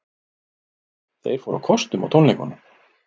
Þeir fóru á kostum á tónleikunum